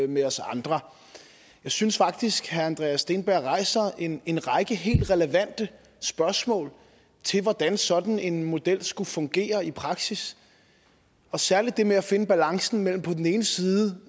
med os andre jeg synes faktisk at herre andreas steenberg rejser en en række helt relevante spørgsmål i forhold til hvordan sådan en model skulle fungere i praksis og særligt det med at finde balancen mellem på den ene side